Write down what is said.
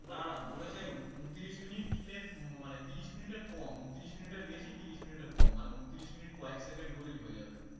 বলেছে ঊনত্রিশ minute এর মানে তিরিশ minute এর কম, ঊনত্রিশ minute এর বেশি তিরিশ minute এর কম মানে ঊনত্রিশ minute কয়েক second হলেই হয়ে যাবে